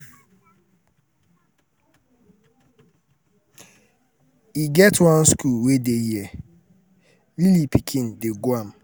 e get one school wey dey here um lily pikin dey um go am.